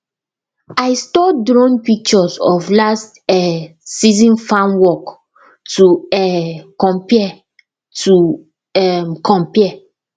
i store drone pictures of last um season farm work to um compare to um compare